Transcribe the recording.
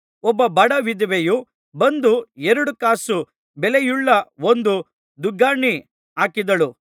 ಒಬ್ಬ ಬಡ ವಿಧವೆಯು ಬಂದು ಎರಡು ಕಾಸು ಬೆಲೆಯುಳ್ಳ ಒಂದು ದುಗ್ಗಾಣಿ ಹಾಕಿದಳು